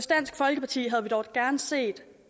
dansk folkeparti havde vi dog gerne set